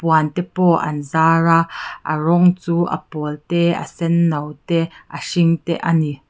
te pawh an zar a a rawng chu a pawl te a senno te a hring te a ni.